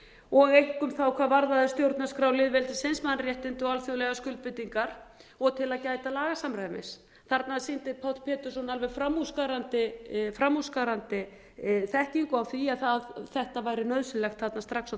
og einkum þá hvað varðaði stjórnarskrá lýðveldisins mannréttindi og alþjóðlegar skuldbindingar og til að gæta lagasamræmis þarna sýndi páll pétursson alveg framúrskarandi þekkingu á því að þetta væri nauðsynlegt þarna strax á